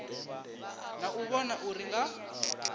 na u vhona uri nga